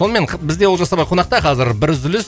сонымен бізде олжас ағай қонақта қазір бір үзіліс